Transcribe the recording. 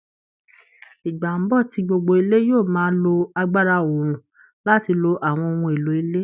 Ìgbà ń bọ̀ tí gbogbo ilé yóò máa lo agbára oòrùn láti lo àwọn ohun èlò ilé